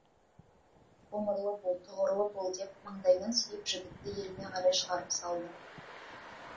ғұмырлы бол тұғырлы бол деп маңдайынан сүйіп жігітті еліне қарай шығарып салды